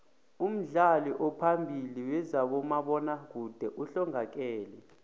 umdlali ophambili wezabomabona kude uhlongakele